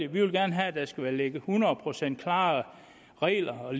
vil gerne have at der skal ligge hundrede procent klare regler og